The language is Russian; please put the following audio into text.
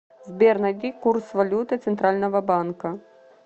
сбер найди курс валюты центрального банка